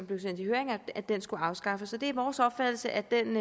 blev sendt i høring at den skulle afskaffes det er vores opfattelse at den